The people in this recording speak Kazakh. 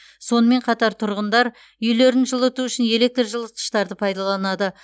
сонымен қатар тұрғындар үйлерін жылыту үшін электр жылытқыштарды пайдаланады